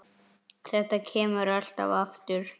Þetta kemur alltaf aftur.